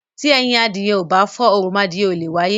Tí ẹyin adìyẹ ò bá fọ́, oromọadìyẹ ò leè wáyé.